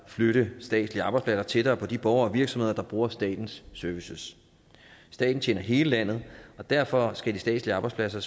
flytte statslige arbejdspladser tættere på de borgere og virksomheder der bruger statens services staten tjener hele landet og derfor skal de statslige arbejdspladser